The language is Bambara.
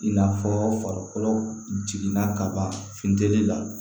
In n'a fɔ farikolo jiginna kaban fin la